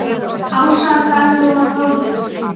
Ása, Dagrún og Þórður.